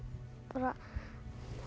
bara